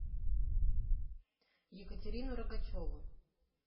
екатерину рогачеву